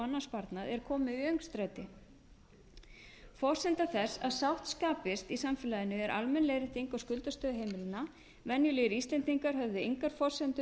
annan sparnað er kominn í öngstræti forsenda þess að sátt skapist í samfélaginu er almenn leiðrétting á skuldastöðu heimilanna venjulegir íslendingar höfðu engar forsendur